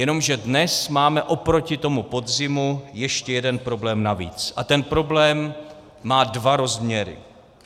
Jenomže dnes máme oproti tomu podzimu ještě jeden problém navíc a ten problém má dva rozměry.